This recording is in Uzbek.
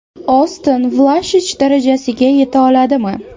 Oston Vlashich darajasiga yeta oladimi?